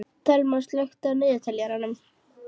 Thelma, slökktu á niðurteljaranum.